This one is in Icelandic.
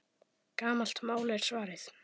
Gamalt mál, er svarið.